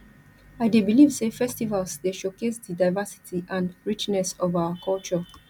i dey believe say festivals dey showcase di diversity and richness of our culture